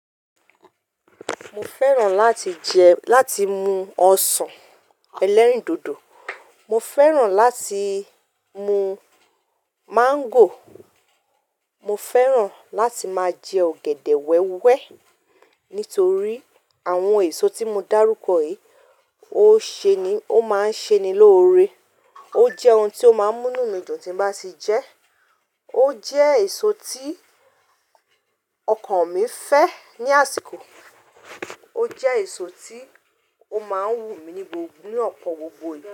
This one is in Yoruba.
Mo fẹ́ràn láti jẹ, láti mu ọsàn ẹlẹ́rìndòdò, mo fẹ́ràn láti mu máńgò, mo fẹ́ràn láti máa jẹ ọ̀gẹ̀dẹ̀ wẹ́wẹ́. Nítorí àwọn èso tí mo dárúkọ yìí ó ṣe ni, ó máa ń ṣe ni lóore. Ó jẹ́ ohun tí ó máa ń mú nu mi dùn tí n bá ti jẹ ẹ́. Ó jẹ́ èso tí ọkàn mi fẹ́ ní àsìkò. Ó jẹ́ èso tí ó máa ń wù mí ní gbogbo, ní ọ̀pọ̀ gbogbo ìgbà.